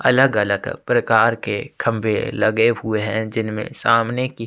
अलग-अलग प्रकार के खम्बे लगे हुए है जिनमे सामने की--